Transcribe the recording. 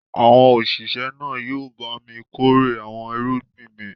Àwọn òṣìṣẹ́ náà yóò bá mi kórè àwọn irúgbìn mi.